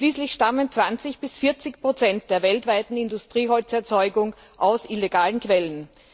Schließlich stammen 20 bis 40 der weltweiten Industrieholzerzeugung aus illegalen Quellen.